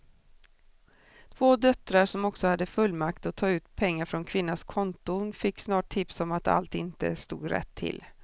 Två döttrar som också hade fullmakt att ta ut pengar från kvinnans konton fick snart tips om att allt inte stod rätt till.